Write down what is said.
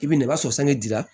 I bɛ na i b'a sɔrɔ sange ji la